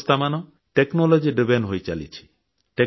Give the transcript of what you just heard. ବ୍ୟବସ୍ଥାମାନ ପ୍ରଯୁକ୍ତି ଆଧାରିତ ହୋଇଚାଲିଛି